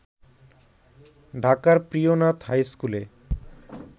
ঢাকার প্রিয়নাথ হাইস্কুলে